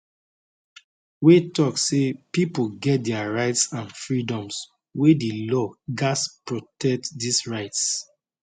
wey tok say pipo get dia rights and freedoms wey di law gatz protect dis rights